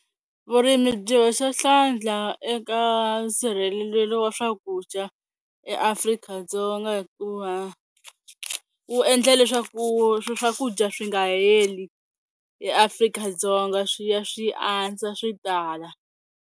Vurimi byi hoxa hlandla eka nsirhelelelo wa swakudya eAfrika-Dzonga hikuva wu endla leswaku swi swakudya swi nga heli eAfrika-Dzonga swi ya swi andza swi tala.